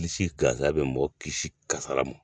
Lisi gansan bɛ mɔgɔ kisi kasara ma